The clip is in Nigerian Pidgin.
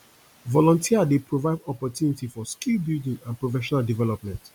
volunteer dey provide opportunity for skill building and professional development